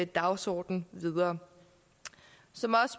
dagsorden videre som